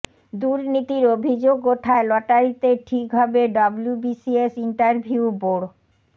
দুর্নীতির অভিযোগ ওঠায় লটারিতে ঠিক হবে ডব্লুবিসিএস ইন্টারভিউ বোর্ড